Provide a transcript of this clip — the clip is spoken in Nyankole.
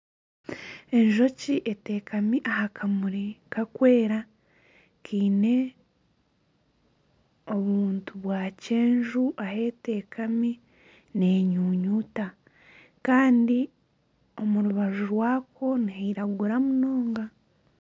Enjoki eteekami aha kamuri karikwera kaine obuntu bwa kyenju ahu eteekami nenyunyuuta. Kandi omu rubaju rwako nihairagura munonga.